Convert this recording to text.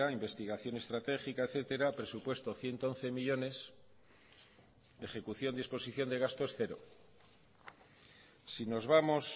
investigación estratégica etcétera presupuesto ciento once millónes ejecución disposición de gastos cero si nos vamos